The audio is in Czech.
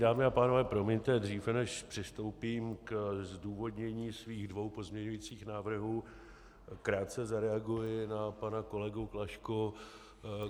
Dámy a pánové, promiňte, dříve než přistoupím ke zdůvodnění svých dvou pozměňovacích návrhů, krátce zareaguji na pana kolegu Klašku.